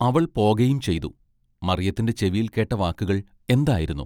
അവൾ പോകയും ചെയ്തു. മറിയത്തിന്റെ ചെവിയിൽ കേട്ട വാക്കുകൾ എന്തായിരുന്നു.